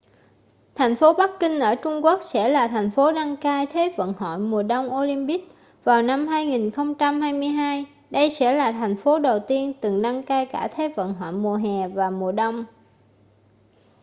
thành phố bắc kinh ở trung quốc sẽ là thành phố đăng cai thế vận hội mùa đông olympic vào năm 2022 đây sẽ là thành phố đầu tiên từng đăng cai cả thế vận hội mùa hè và mùa đông